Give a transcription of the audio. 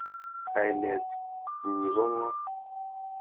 Kainet nyi ko ng'o?